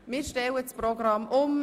Wir stellen also das Programm um.